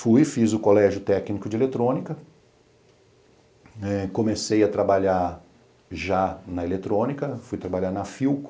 Fui, fiz o colégio técnico de eletrônica, eh comecei a trabalhar já na eletrônica, fui trabalhar na Filco.